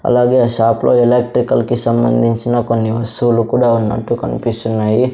అలాగే ఆ షాప్ లో ఎలక్ట్రికల్ కి సంబంధించిన కొన్ని వస్తువులు కూడా ఉన్నట్టు కనిపిస్తున్నాయి.